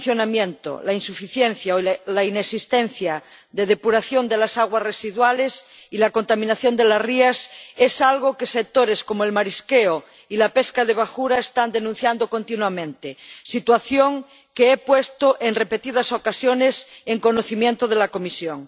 El mal funcionamiento, la insuficiencia o la inexistencia de depuración de las aguas residuales y la contaminación de las rías es algo que sectores como el marisqueo y la pesca de bajura están denunciando continuamente, situación que he puesto en repetidas ocasiones en conocimiento de la Comisión.